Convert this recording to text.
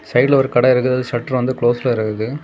சைடுல ஒரு கடை இருக்குது சட்டுறு வந்து க்லோஸ்ல இருக்குது.